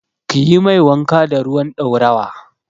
Kiyi mai wanka da ruwan ɗaurawa.